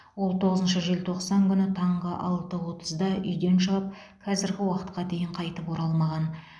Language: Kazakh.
ол тоғызыншы желтоқсан күні таңғы алты отызда үйден шығып қазіргі уақытқа дейін қайтып оралмаған